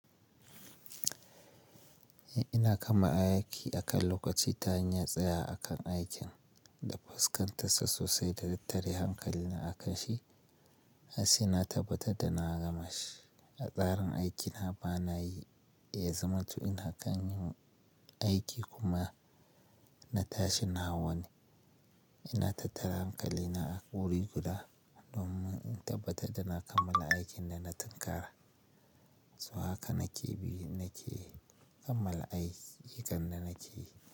Eh ina kama aiki akan lokaci ta hanyar tsaya akan aikin da fuskantar sa sosai da tattare hankali na akan shi. Har saina tabbatar da na gama shi. A tsarin aikina bana yi, eh za manto ina kan yin aiki kuma na tashi na wane. Ina tattara hankali na a wuri guda domin in tabbatar da na kammala aikin da na tattara. Su haka nake bi nake kammala ayyukan da nake yi.